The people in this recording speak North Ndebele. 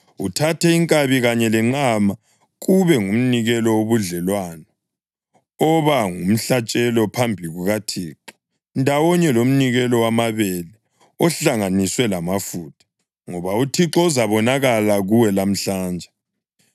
uthathe inkabi kanye lenqama kube ngumnikelo wobudlelwano oba ngumhlatshelo phambi kukaThixo, ndawonye lomnikelo wamabele ohlanganiswe lamafutha, ngoba uThixo uzabonakala kuwe lamhlanje.’ ”